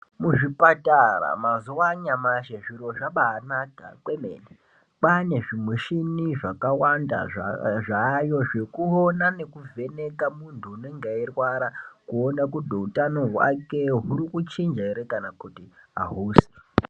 Muzvipatara mazuwa anyamushi zviro zvabaanaka kwemene. Kwaane zvimichini zvekuona nekuvheneka munhu anenge achirwara kuona kuti utano hwake hurikuchinja ere kana kuti ahusi.